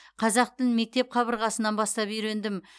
қазақ тілін мектеп қабырғасынан бастап үйрендім